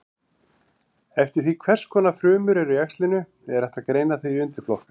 Eftir því hvers konar frumur eru í æxlinu er hægt að greina þau í undirflokka.